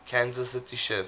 kansas city chiefs